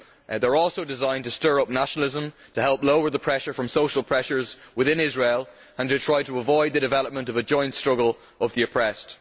They are also designed to stir up nationalism, to help lower the pressure from social pressures within Israel and to try to avoid the development of a joint struggle of the oppressed.